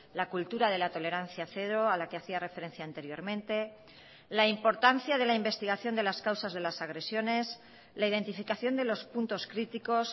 la cultura de la tolerancia cero a la que hacía referencia anteriormente la importancia de la investigación de las causas de las agresiones la identificación de los puntos críticos